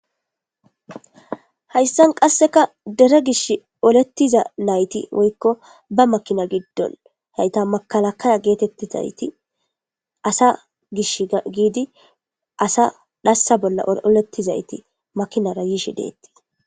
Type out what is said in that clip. Hayssan qasseka dere gish olettiza nayti woykko ba makina giddon hayta makalakaya geetettizayti asa gish giidi asa dhassa bolla olettizayti makinara yiishi deettii.